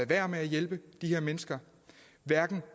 være med at hjælpe de her mennesker hverken